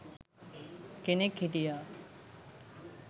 කෙනෙක් හිටියා.